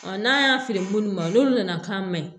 n'an y'a feere munnu ma olu nana k'a ma ɲi